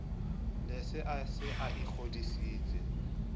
ne a se a ikgodisitse